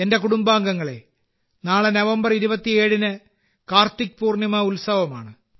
എന്റെ കുടുംബാംഗങ്ങളെ നാളെ നവംബർ 27ന് കാർത്തിക് പൂർണിമ ഉത്സവമാണ്